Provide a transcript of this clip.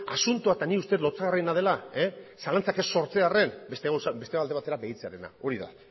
asuntoa eta nik uste dut lotsagarriena dela zalantzak ez sortzearren beste alde batera begiratzearena hori da